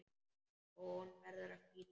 Hún verður að flýta sér.